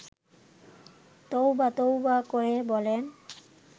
তৌবা তৌবা করে বলেন